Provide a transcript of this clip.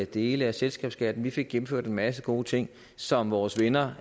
dele af selskabsskatten vi fik gennemført en masse gode ting som vores venner